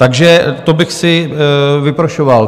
Takže to bych si vyprošoval.